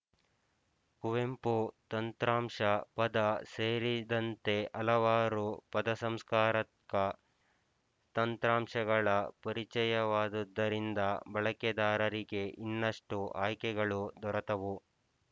ಕುವೆಂಪು ತಂತ್ರಾಂಶ ಪದ ಸೇರಿದಂತೆ ಹಲವಾರು ಪದಸಂಸ್ಕಾರಕ ತಂತ್ರಾಂಶಗಳ ಪರಿಚಯವಾದುದ್ದರಿಂದ ಬಳಕೆದಾರರಿಗೆ ಇನ್ನಷ್ಟು ಆಯ್ಕೆಗಳು ದೊರತವು